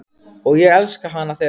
Og ég elska hana þegar hún segir það.